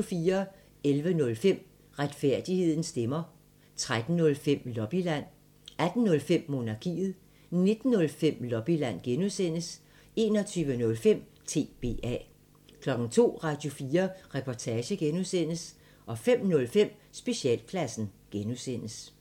11:05: Retfærdighedens stemmer 13:05: Lobbyland 18:05: Monarkiet 19:05: Lobbyland (G) 21:05: TBA 02:00: Radio4 Reportage (G) 05:05: Specialklassen (G)